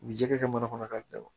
U bi jɛgɛ kɛ mana kɔnɔ ka bɛn